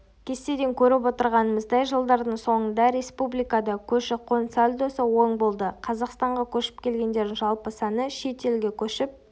кестеден көріп отырғанымыздай жылдардың соңында республикада көші-қон сальдосы оң болды қазақстанға көшіп келгендердің жалпы саны шет елге көшіп